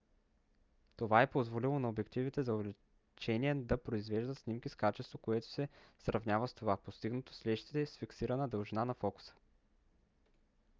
това е позволило на обективите за увеличение да произвеждат снимки с качество което се сравнява с това постигнато с лещите с фиксирана дължина на фокуса